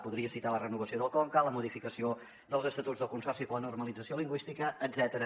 podria citar la renovació del conca la modificació dels estatuts del consorci per a la normalització lingüística etcètera